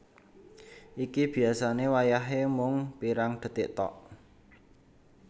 Iki biasane wayahe mung pirang detik thok